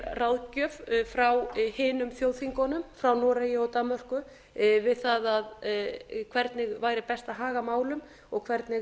ráðgjöf frá hinum þjóðþingunum frá noregi og danmörku við það hvernig væri best að haga málum og hvernig